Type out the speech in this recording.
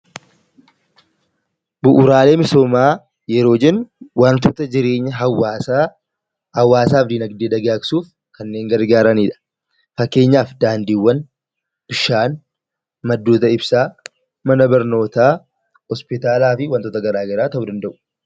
Bu'uuraalee misoomaa kan jennu, waantota jireenya hawaasaa fi dinaagdee dagaagsuuf kanneen gargaaranidha. Fakkeenyaaf daandii, bishaan, maddoota ibsaa, mana barnootaa, hospitaalaa fi waantota garaagaraa ta'uu danda'u.